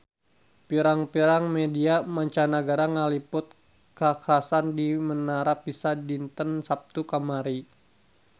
Pirang-pirang media mancanagara ngaliput kakhasan di Menara Pisa dinten Saptu kamari